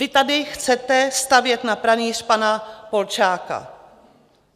Vy tady chcete stavět na pranýř pana Polčáka.